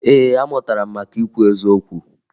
Ee, amụtara m maka ikwu eziokwu